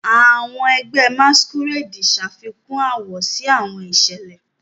Awọn ẹgbẹ Masquerade ṣafikun awọ si awọn iṣẹlẹ.